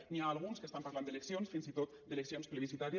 n’hi ha alguns que estan parlant d’eleccions fins i tot d’eleccions plebiscitàries